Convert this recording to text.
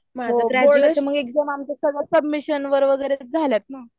Submission वगैरे झालेत ना?